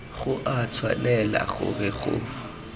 go a tshwanela gore go